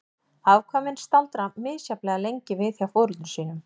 Afkvæmin staldra misjafnlega lengi við hjá foreldrum sínum.